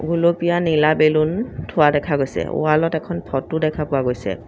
গুলপীয়া নীলা বেলুন থোৱা দেখা গৈছে ৱালত এখন ফটো দেখা পোৱা গৈছে।